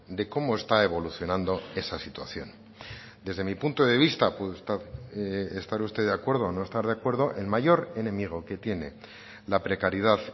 de cómo está evolucionando esa situación desde mi punto de vista puede estar usted de acuerdo o no estar de acuerdo el mayor enemigo que tiene la precariedad